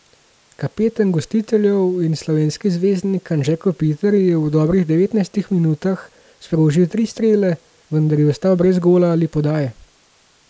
Kapetan gostiteljev in slovenski zvezdnik Anže Kopitar je v dobrih devetnajstih minutah sprožil tri strele, vendar je ostal brez gola ali podaje.